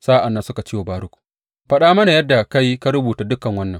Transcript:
Sa’an nan suka ce wa Baruk, Faɗa mana yadda ka yi ka rubuta dukan wannan.